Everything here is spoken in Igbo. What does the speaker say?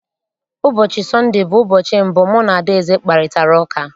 Ụbọchị Sọnde bụ ụbọchị mbụ mụ na Adaeze kparịtara ụka.